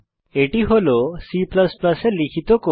এটি হল C এ লিখিত কোড